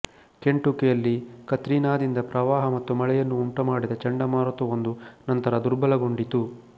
ಕೆಂಟುಕಿಯಲ್ಲಿ ಕತ್ರಿನಾದಿಂದ ಪ್ರವಾಹ ಮತ್ತು ಮಳೆಯನ್ನು ಉಂಟುಮಾಡಿದ ಚಂಡಮಾರುತವೊಂದು ನಂತರ ದುರ್ಬಲಗೊಂಡಿತು